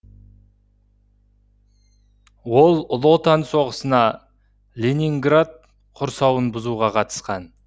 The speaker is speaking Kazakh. ол ұлы отан соғысына ленинград құрсауын бұзуға қатысқан